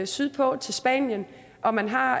sydpå til spanien og man har